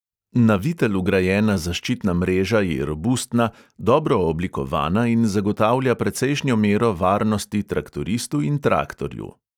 Na vitel vgrajena zaščitna mreža je robustna, dobro oblikovana in zagotavlja precejšnjo mero varnosti traktoristu in traktorju.